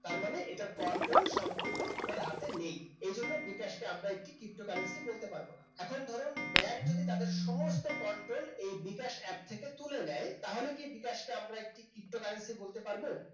তারমানে এটার control সম্পূর্ণ আপনার হাতে নেই এজন্য বিকাশকে আমরা একটি ptocurrency বলতে পারব না এখন ধরুন ব্যাংক যদি তাদের সমস্ত control এই বিকাশ app থেকে তুলে নেয় তাহলে কি বিকাশ কে আমরা একটি ptocurrency বলতে পারব?